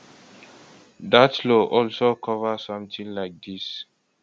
dat law also cover sometin like dis